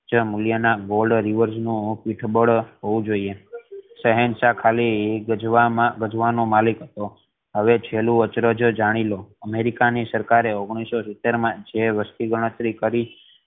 ચ મૂલ્ય ના gold reverse નુ પીઠબળ હોવુ જોઈએ શહેનશાહ ખાલી ગજવામાં ગજવાનો મલિક હતો હવે છેલ્લું અચરજ જાણી લો અમેરિકા ની સરકાર એ ઓગણીસો સીતેર મા જે વસ્તી ગણતરી કરી